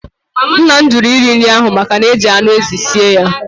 Nna m jụrụ iri nri ahụ maka na-eji anụ ezi sie ya.